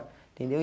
Entendeu? E